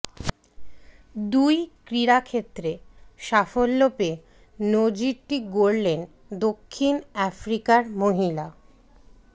দুই ক্রীড়াক্ষেত্রে সাফল্য পেয়ে নজিরটি গড়লেন দক্ষিণ আফ্রিকার মহিলা